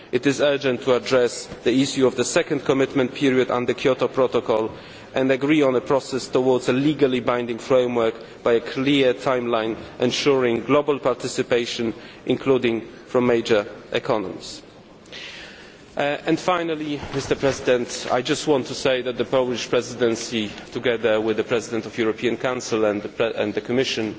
It is urgent to address the issue of the second commitment period on the Kyoto Protocol and agree on a process towards a legally binding framework by a clear timeline, ensuring global participation including from major economies. Finally I just want to say that the Polish Presidency, together with the President of the European Council and the Commission,